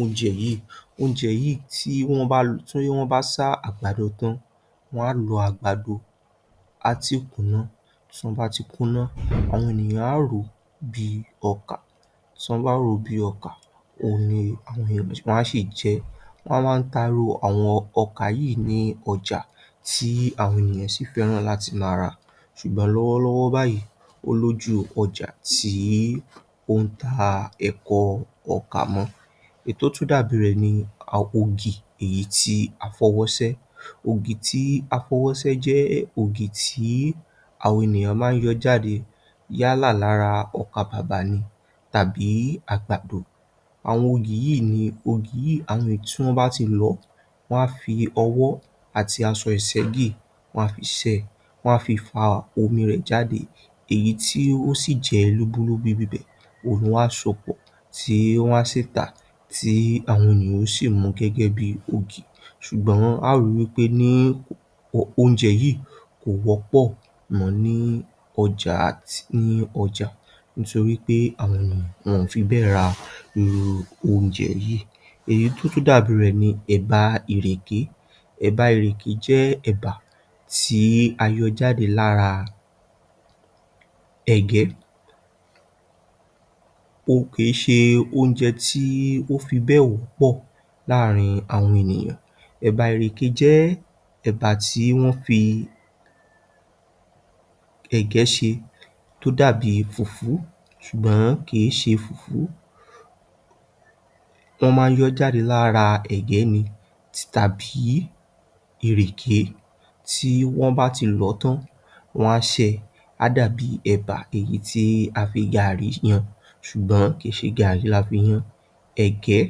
oúnjẹ yìí. Oúnjẹ yìí, tí wọ́n bá lú—tí wọ́n bá sá àgbàdo tan, wọ́n á lo àgbàdo tí o ti kùnán. Tí wọ́n bá ti kùnán, àwọn ènìyàn a ro bíi ọkà. Tí wọ́n bá rọ bíi ọkà, àwọn ènìyàn á sì jẹ́. Wọ́n máa ń tà irú àwọn ọkà yìí ní ọjà, tí àwọn ènìyàn sì fẹ́ràn láti má ra. Ṣùgbọ́n lọ́wọ́lọ́wọ́ báyìí, olójú ọjà tí ó ń tà ẹ̀kọ́ ọkà kù. Èyi tó dàbí rẹ ni ògì tí a fọwọ́sẹ. Ògì tí a fọwọ́sẹ jẹ́ ògì tí àwọn ènìyàn máa ń yọ jáde yálà lára ọkà bàbá ni tàbí àgbàdo. Àwọn ògì yìí ni ògì tí àwọn ẹ̀tì wọ́n bá ti lọ, wọ́n á fi ọwọ́ àti àṣọ ìṣẹ́gí. Wọ́n á fi sẹ̀, wọ́n á fi fá omi rẹ jáde. Èyí tí ó sì jẹ lubulùbù bíbẹ̀, òun ni wọ́n á ṣàpọ̀ tí wọ́n á sì tà, tí àwọn ènìyàn ó sì mu gẹ́gẹ́ bíi ògì. Ṣùgbọ́n a ó rí pé irú oúnjẹ yìí kò wọ́pọ̀ mọ́ ní ọjà, nítorí pé àwọn ènìyàn ò fi bẹ́ẹ̀ rá irú oúnjẹ yìí. Èyí tó dàbí rẹ ni ẹ̀bà ìrẹké. Ẹ̀bà ìrẹké jẹ́ ẹ̀bà tí a yọ jáde lára ẹ̀gẹ́. Òun kì í ṣe oúnjẹ tí ó fi bẹ́ẹ̀ wọ́pọ̀ láàrín àwọn ènìyàn. Ẹ̀bà ìrẹké jẹ́ ẹ̀bà tí wọ́n fi ẹ̀gẹ́ ṣe, tó dàbí fùùfù, ṣùgbọ́n kì í ṣe fùùfù. Wọ́n máa ń yọ jáde lára ẹ̀gẹ́ ni tì tàbí ìrẹké. Tí wọ́n bá ti lọ tan, wọ́n á sẹ̀, a dàbí ẹ̀bà èyí tí a fi gàrí yàn, ṣùgbọ́n kì í ṣe gàrí láfíyàn. Ẹ̀gẹ́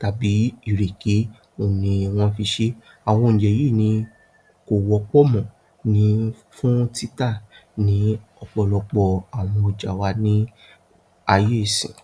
tàbí ìrẹké ni wọ́n fi ṣe. Àwọn oúnjẹ yìí ni kò wọ́pọ̀ mọ́ fún títà ní ọ̀pọ̀lọpọ̀ àwọn ọja wa ní ayé ìṣìn.